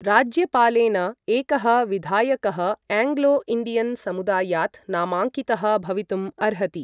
राज्यपालेन एकः विधायकः एङ्ग्लो इण्डियन् समुदायात् नामाङ्कितः भवितुम् अर्हति।